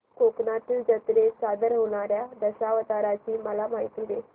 कोकणातील जत्रेत सादर होणार्या दशावताराची मला माहिती दे